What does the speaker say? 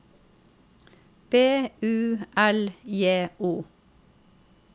B U L J O